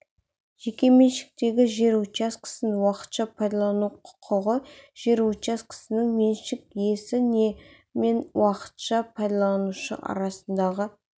жеке меншіктегі жер учаскесін уақытша пайдалану құқығы жер учаскесінің меншік иесі мен уақытша пайдаланушы арасындағы